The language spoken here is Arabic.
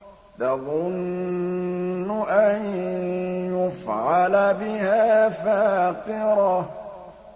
تَظُنُّ أَن يُفْعَلَ بِهَا فَاقِرَةٌ